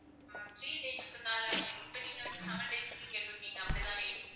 ஆஹ் three days க்குனாலும் இப்ப நீங்க வந்து seven days க்கு கேட்டுருக்கீங்க அப்படித்தானே?